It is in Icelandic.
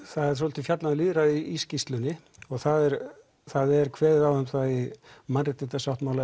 það er svolítið fjallað um lýðræði í skýrslunni og það er það er kveðið á um það í Mannréttindasáttmála